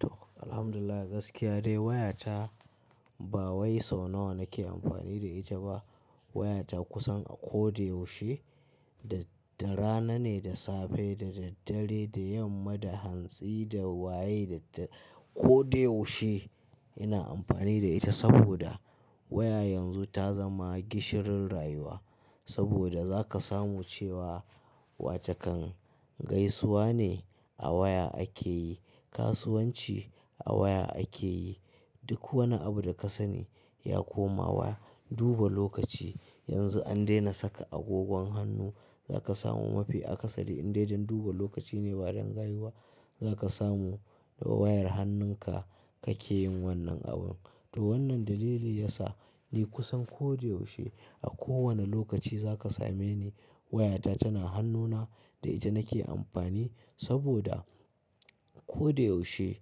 To Alhamdulillah gaskiya dai wayata ba wai sau nawa nake amfani da ita ba. Wayata kusan a ko da yaushe da, da rana ne, da safe, da daddare, da yamma, da hantsi, da waye, da, da ko da yaushe ina amfani da ita saboda waya yanzu ta zama gishirin rayuwa. Saboda za ka samu cewa wa ce kan gaisuwa ne a waya ake yi, kasuwanci a waya ake yi, duk wani abu da ka sani ya koma waya. Duba lokaci yanzu an daina saka agogon hannu, za ka samu mafi akasari in dai don duba lokaci ne ba don rayuwa za ka samu da wayar hannunka kake yin wannan abun. To wannan dalili yasa ni kusan ko da yaushe a kowane lokaci za ka same ni wayata tana hannuna da ita nake amfani saboda ko da yaushe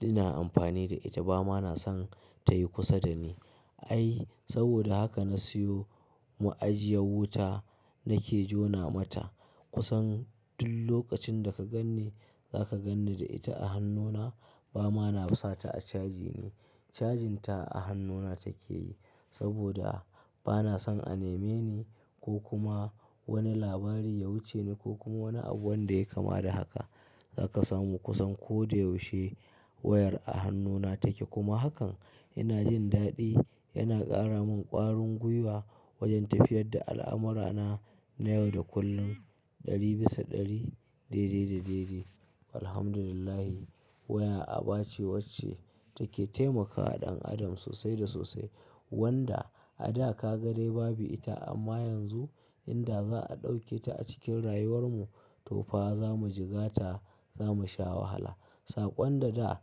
ina amfani da ita ba ma na san ta yi kusa da ni. Ai saboda haka na siyo ma'ajiyar wuta nake jona mata kusan duk lokacin da ka ganni za ka ganni da ita a hannuna ba ma na sata a caji ne. Cajin ta a hannuna take yi saboda ba na son a neme ni ko kuma wani labari ya wuce ni ko kuma wani abu wanda ya kama da haka. Za ka samu kusan ko da yaushe wayar a hannuna take kuma hakan ina jin daɗi, yana ƙara mun ƙwarin gwiwa wajen tafiyar da al'amurana na yau da kullum ɗari bisa ɗari, daidai da daidai. Alhamdulillah waya aba ce wacce take taimakawa ɗan adam sosai da sosai wanda a da ka ga dai babu ita amma yanzu inda za a ɗauke ta a cikin rayuwar mu to fa za mu jigata za mu sha wahala. Saƙon da da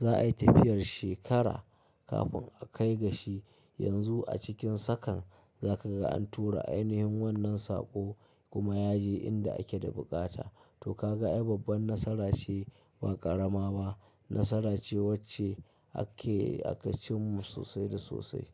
za a yi tafiyar shekara kafin a kai gashi yanzu a cikin sakan za ka ga an tura ainihin wannan saƙo kuma yaje inda ake da buƙata. To ka ga ai babban nasara ce ba ƙarama ba, nasara ce wacce ake a kacinmu sosai da sosai.